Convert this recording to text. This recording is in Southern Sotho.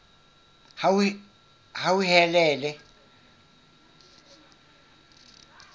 hauhelele